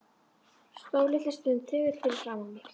Stóð litla stund þögull fyrir framan mig.